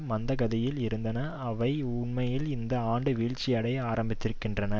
மந்த கதியில் இருந்தன அவை உண்மையில் இந்த ஆண்டு வீழ்ச்சி அடைய ஆரம்பித்திருக்கின்றன